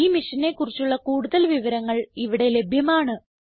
ഈ മിഷനെ കുറിച്ചുള്ള കുടുതൽ വിവരങ്ങൾ ഇവിടെ ലഭ്യമാണ്